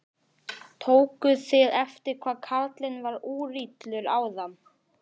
Tókuð þið eftir hvað karlinn var úrillur áðan?